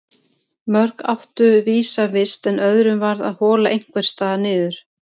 Mörg áttu vísa vist en öðrum varð að hola einhvers staðar niður.